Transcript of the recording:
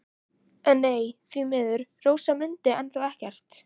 En nei, því miður, Rósa mundi enn þá ekkert.